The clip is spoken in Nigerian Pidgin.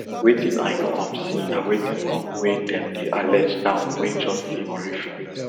wetin i no um see na wetin um wey dem dey allege now wey just dey horrific